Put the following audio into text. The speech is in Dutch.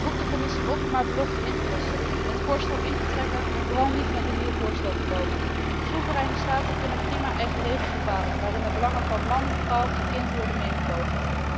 Ik roep de Commissie op om haar belofte in te lossen, het voorstel in te trekken en vooral niet met een nieuw voorstel te komen. Soevereine staten kunnen prima eigen regels bepalen waarin de belangen van man, vrouw en kind worden meegewogen.